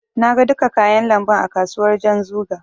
Na ga duka kayan lambun a kasuwar Janzuga.